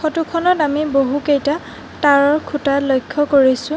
ফটোখনত আমি বহুকেইটা তাঁৰৰ খুঁটা লক্ষ্য কৰিছোঁ।